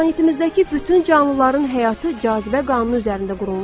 Planetimizdəki bütün canlıların həyatı cazibə qanunu üzərində qurulmuşdu.